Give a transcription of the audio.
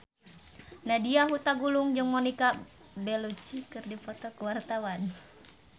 Nadya Hutagalung jeung Monica Belluci keur dipoto ku wartawan